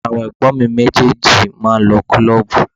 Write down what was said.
Àwọn ẹ̀gbọ́n mi méjèèjì máa ń lọ kílọ́ọ̀bù.